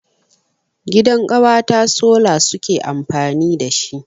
Gidan ƙawata sola suke amfani dashi.